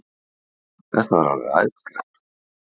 Þetta var alveg æðislegt